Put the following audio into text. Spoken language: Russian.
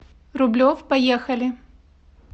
рублев поехали